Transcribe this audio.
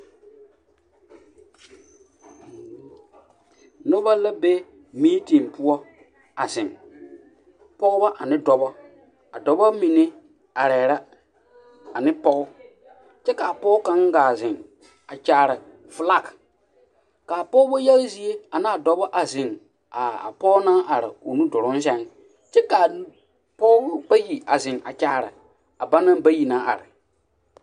Nobɔ la be miitiŋ poɔ a zeŋ pɔgebɔ ane dɔbɔ a dɔbɔ mine arɛɛ la ane pɔge kyɛ kaa pɔge kaŋ gaa zeŋ a kyaare flak kaa pɔgebɔ yaga zie a naa dɔbɔ a zeŋ a a pɔɔ naŋ are o nu duruŋ sɛŋ kyɛ kaa pɔɔbɔ bayi a zeŋ a kyaare a ba naŋ bayi naŋ are.